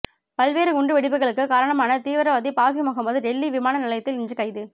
பல்வேறு குண்டு வெடிப்புக்களுக்கு காரணமான தீவிரவாதி பாசிமுகமது டெல்லி விமான நிலையத்தில் இன்று கைது